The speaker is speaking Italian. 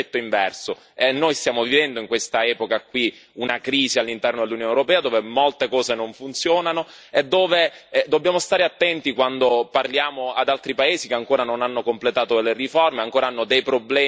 Noi stiamo vivendo in questa epoca una crisi all'interno dell'Unione europea, dove molte cose non funzionano e dove dobbiamo stare attenti quando parliamo ad altri paesi che ancora non hanno completato delle riforme e ancora hanno dei problemi seri.